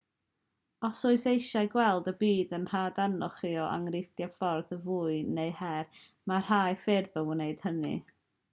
os oes eisiau gweld y byd yn rhad arnoch chi o anghenraid ffordd o fyw neu her mae rhai ffyrdd o wneud hynny